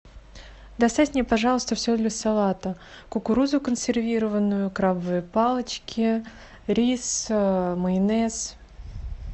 доставь мне пожалуйста все для салата кукурузу консервированную крабовые палочки рис майонез